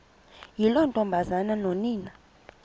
yiloo ntombazana nonina